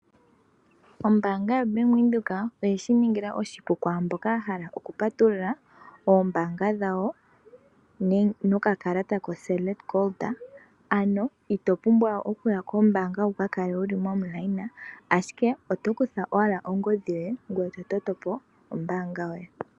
Ombaanga yoBank Windhoek oye shiningila oshipu kwaamboka yahala okupatulula oombaanga dhawo, nokakalata koSelect Gold, ano ito pumbwa okuya kombaanga wukakale momukweyo, ashike oto kutha owala ongodhi yoye, ngoye totopo ombaanga yoye.